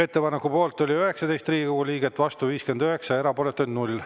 Ettepaneku poolt oli 19 Riigikogu liiget, vastu 59 ja erapooletuid 0.